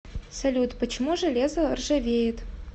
салют почему железо ржавеет